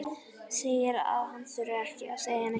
Segir að hann þurfi ekki að segja neitt meira.